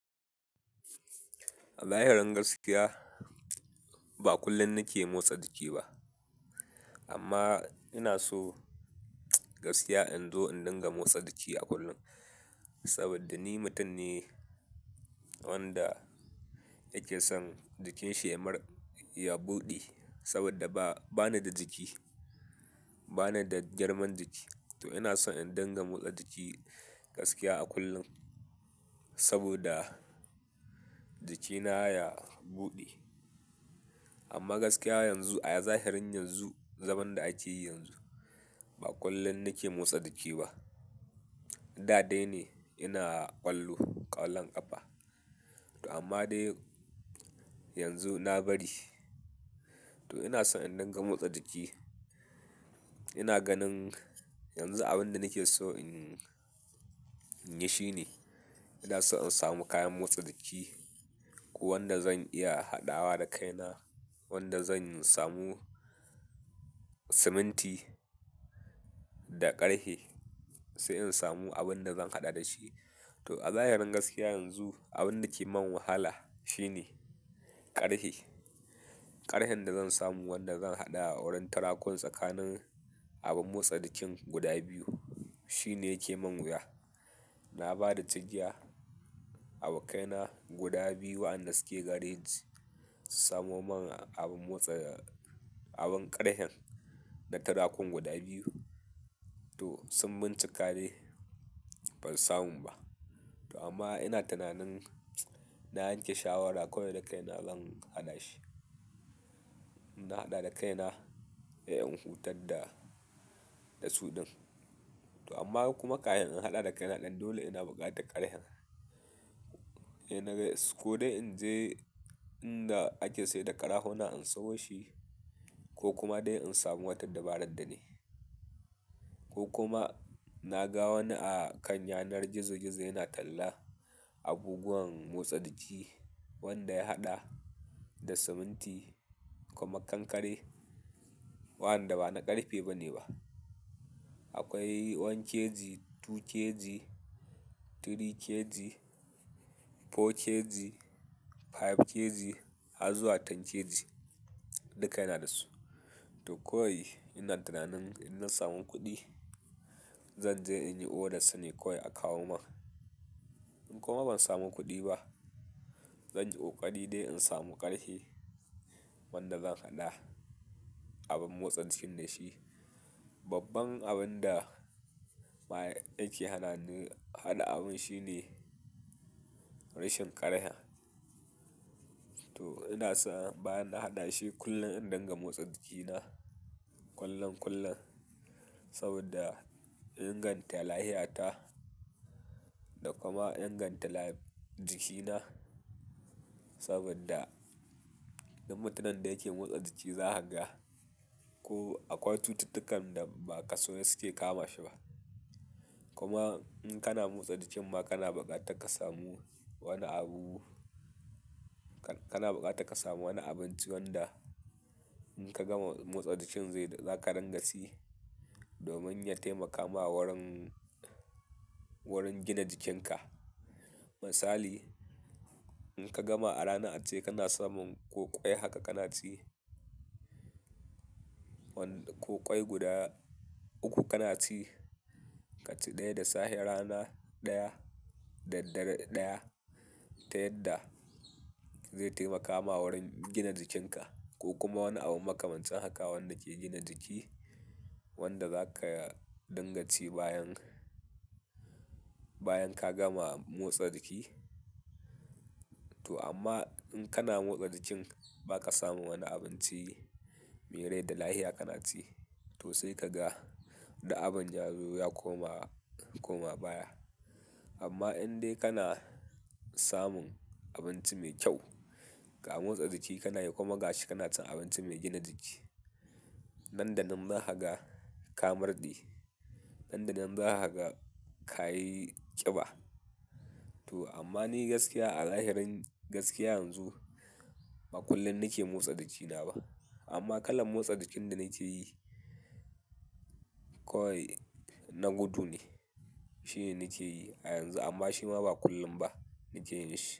A zahirin gaskiya ba kullum nake motsa jiki ba amma ina so gaskiya in zo in dinga motsa jiki a kullum. Saboda ni mutum ne wanda yake son jikinsa ya mar, ya buɗe saboda ba, bani da jiki, bani da jarman jiki. To inason in giga mosta jiki gaskiya a kullum saboda jikina ya buɗe amma gaskiya yanzu a zahirin yanzu, zaman da ake yi yanzu ba kullum nake motsa jiki ba. Da dai ne ina ƙwallo, ƙwallon ƙafa. To amma dai yanzu na bari to ina so in dinga motsa jiki. Ina ganin yanzu abunda nakeso in yishine ina son in samu kayan motsa jiki ko wanda zan iya haɗawa da kaina wanda zan samu siminti da ƙarfe sai in samu abun da zan haɗa da shi. To a zahirin gaskiya yanzu abin da ke mun wahala shine ƙarfe. Karfen da zan samu wanda zan haɗa wurin turakun tsakanin abun motsa jikin guda biyu shine yake mun wuya na ba da cigiya abokaina guda biyu waɗanda suke gareji su samo mun abun motsa, abun ƙarfen da tarakun guda biyu. To sun bincika dai ba samun ba. To amma ina tunanin na yanke shawara ko dai da kaina zan haɗa shi. In haɗa da kaina he in hutar da, da su ɗin. To amma kuma kahin in haɗa da kaina ɗin dole ina buƙatan ƙarhen. He na ga is ko dai in je inda ake saida ƙara huna in sayo shi ko kuma dai in samu wata dabarar da nayi. Ko kuma na ga wani a kan yanar gizo gizo yana talla abubuwan motsa jiki wanda ya haɗa da siminti kuma kankare wa anda bana ƙarfe bane ba. Akwai ɗaya kg, biyu kg, uku kg, huɗu kg, biyar kg har zuwa goma kg duka yana da su. To kowai ina tunanin in na samu kuɗi zan je in yi oda sune kowai a kawo mun. In kuma ban samu kuɗi ba zan yi ƙoƙari dai in samu ƙarfe wanda zan haɗa abun motsa jikin da shi. Babban abun da ma yake hana ni haɗa abun shine rashin ƙarhen. To ina so bayan na haɗa shi kullum in dinga motsa jikina kullun kullun saboda inganta lafiyata da kuma in inganta jikina. Saboda dum mutunin da yake motsa jiki za a haga ko akwai cututtukan da ba ka so suke kama shi ba. Kuma inkana motsa jikin ma kana buƙatar kasamu wani abu kana buƙatar ka samu wani abunci wanda inka gama mosta jikin zaka ringa ci domin ya taimaka ma wurin wurin gina jikin ka misali in ka gama a rana ace kana samun ko ƙwai haka kana ci. Wanda ko ƙwai guda uku kana ci, ka ci ɗaya da safe, rana ɗaya, da dare ɗaya ta yadda zai taimaka ma wurin gina jikinka ko kuma wani abu makamancin haka wanda ke gina jiki wanda za ka dinganci bayan, bayan ka gama motsa jiki. To amma in kana motsa jikin ba ka samu wani abunci me rai da lahiya kana ci to sai ka ga wanda abun yazo ya koma, koma baya. Amma in dai kana samun abunci mai kyau ga motsa jiki kana yi kuma gashi kana cin abinci mai gina jiki nan da nan za ka ga ka murɗe. Nan da nan za kaga ka yi ƙiba. To amma ni gaskiya a zahirin gaskiya yanzu ba kullum nake motsa jikina ba amma kalar motsa jikin da nake yi kawai na gudu ne. Shine nake yi a yanzu amma shima ba kullum ba nake yinshi.